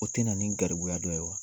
O tɛ na nin garibuya dɔ ye wa?